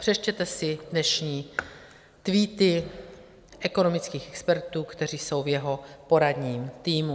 Přečtěte si dnešní tweety ekonomických expertů, kteří jsou v jeho poradním týmu.